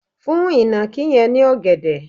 fún ìnàkí yẹn ní ògèdè